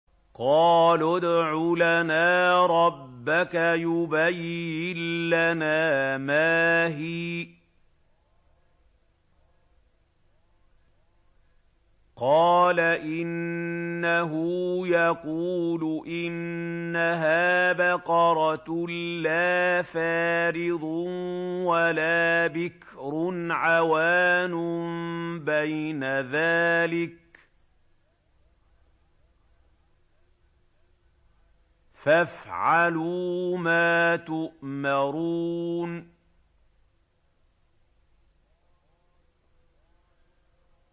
قَالُوا ادْعُ لَنَا رَبَّكَ يُبَيِّن لَّنَا مَا هِيَ ۚ قَالَ إِنَّهُ يَقُولُ إِنَّهَا بَقَرَةٌ لَّا فَارِضٌ وَلَا بِكْرٌ عَوَانٌ بَيْنَ ذَٰلِكَ ۖ فَافْعَلُوا مَا تُؤْمَرُونَ